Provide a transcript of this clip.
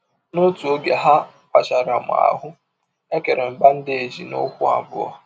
N’ọtụ ọge a wachara m ahụ́, e kere m bandeeji n’ụkwụ abụọ.